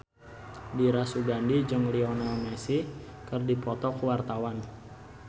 Dira Sugandi jeung Lionel Messi keur dipoto ku wartawan